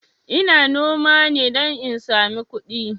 Ina noma ne don in sami kudi